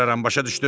başa düşdün?